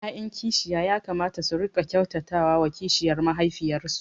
’ya’yan kishiya ya kamata su riƙa kyautata wa kishiyar mahaifiyarsu